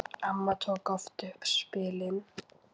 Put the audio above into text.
Amma tók oft upp spilin.